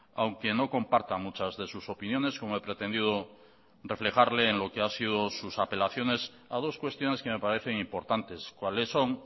aunque no comparta muchas de sus opiniones como he pretendido reflejarle en lo que ha sido sus apelaciones a dos cuestiones que me parecen importantes cuáles son